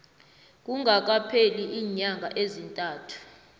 kungakapheli iinyanga ezintandathu